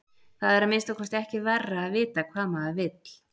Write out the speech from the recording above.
Það er að minnsta kosti ekki verra að vita hvað maður vill.